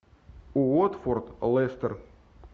уотфорд лестер